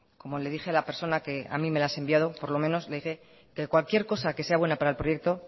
como le dije a la persona que a mí me las ha enviado por lo menos le diré que cualquier cosa que sea buena para el proyecto